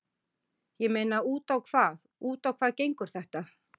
Ég meina út á hvað, út á hvað gengur þetta?